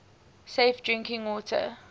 safe drinking water